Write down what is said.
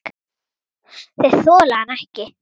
Þeir þola hann ekki.